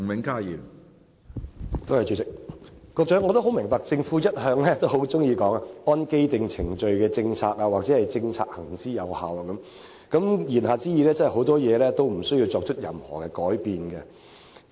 局長一向喜歡說"按既定程序的政策"或"政策行之有效"等，言下之意，很多事情也無須作任何改變。